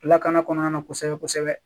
Lakana kɔnɔna na kosɛbɛ kosɛbɛ